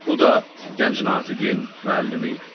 Bu da gənc natiqin müəllimi idi.